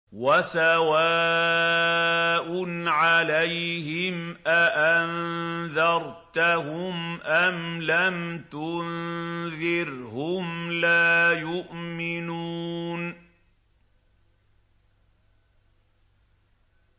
وَسَوَاءٌ عَلَيْهِمْ أَأَنذَرْتَهُمْ أَمْ لَمْ تُنذِرْهُمْ لَا يُؤْمِنُونَ